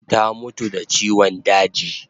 Ta mutu da chiwan daji